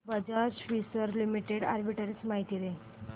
Bajaj Finserv Limited arbitrage माहिती दे